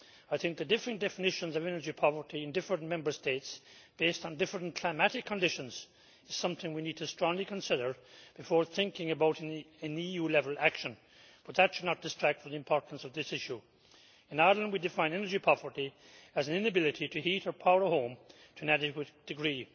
I think the differing definitions of energy poverty in different Member States, based on different climatic conditions, is something we need to strongly consider before thinking about an EU level action, but that should not distract from the importance of this issue. In Ireland, we define energy poverty as an inability to heat or power a home to an adequate degree.